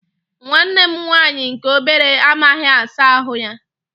Nwanne m nwaanyị nke obere amaghị asa ahụ ya.